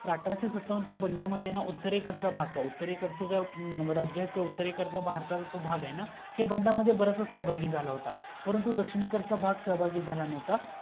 अठराशे सत्तावन च्या बंडामद्धे ना उत्तरेकडचा भाग राज्याच्या उत्तरेकडचा भारताचा भाग आहे ना ह्या बंडामद्धे बराचसा सहभागी झाला होता परंतु दक्षिणेकडचा भाग सहभागी झाला न्हवता